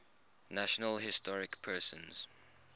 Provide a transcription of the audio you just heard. national historic persons